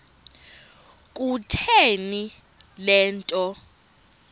kutheni le nto